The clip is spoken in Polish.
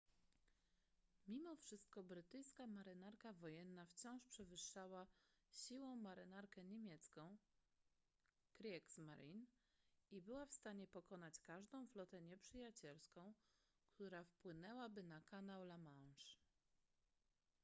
mimo wszystko brytyjska marynarka wojenna wciąż przewyższała siłą marynarkę niemiecką kriegsmarine i była w stanie pokonać każdą flotę nieprzyjacielską która wpłynęłaby na kanał la manche